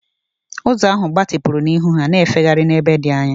Ụzọ ahụ gbatịpụrụ n'ihu ha, na-efegharị n'ebe dị anya.